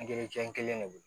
kelen de don